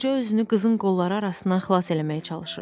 Qoca özünü qızın qolları arasından xilas eləməyə çalışırdı.